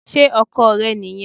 Sé Ọkò rẹ nì yen